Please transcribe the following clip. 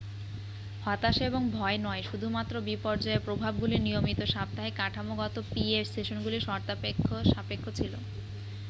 হতাশা এবং ভয় নয় শুধুমাত্র বিপর্যয়ের প্রভাবগুলি নিয়মিত সাপ্তাহিক কাঠামোগত পিএ সেশনগুলির শর্তসাপেক্ষ ছিল